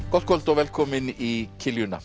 gott kvöld og velkomin í